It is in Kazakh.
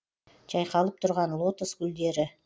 жайқалып тұрған лотос гүлдері